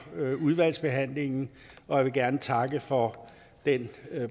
udvalgsbehandlingen og jeg vil gerne takke for den